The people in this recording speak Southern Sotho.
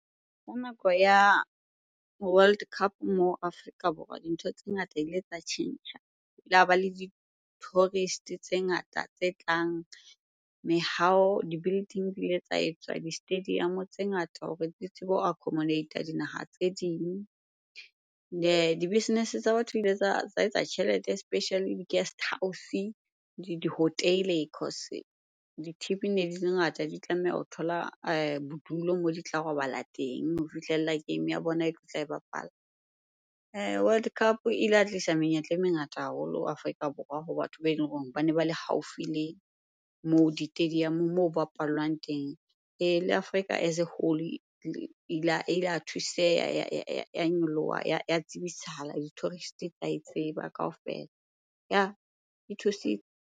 Ho nako ya World Cup mo Afrika Borwa, dintho tse ngata tsa tjhentjha. Ho la ba le di-tourist tse ngata tse tlang, mehaho, di-building di ile tsa etswa, di-stadium tse ngata hore di tsebo ho accomodate-er dinaha tse ding. Di-business tsa batho tsa etsa tjhelete especially di-guesthouse di-hotel-e cause di-team-e ne di le ngata di tlameha ho thola bodulo moo di tla robala teng ho fihlella game ya bona e tlotla e bapala. World Cup e ile ya tlisa menyetla e mengata haholo Afrika Borwa ho batho ba eleng hore bane ba le haufi le moo di-stadium moo ho bapallwang teng. Le Afrika as a whole e la thuseha ya nyoloha, ya tsebisahala, di-tourist tsa e tseba kaofela. Yah e thusitse.